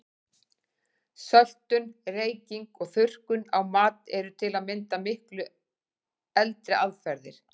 Söltun, reyking og þurrkun á mat eru til að mynda miklu eldri aðferðir.